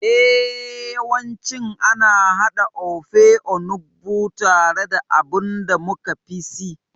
Eh, yawancin ana haɗa Ofe Onugbu tare da abin da muka fi si.